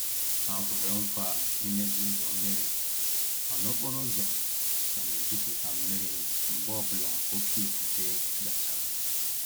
Ha kwere nkwa imezi ụzọ mmiri, mana okporo ụzọ ka na-ejuputa mmiri mgbe ọ bụla oké ifufe gachara.